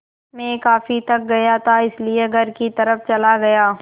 मैं काफ़ी थक गया था इसलिए घर की तरफ़ चला गया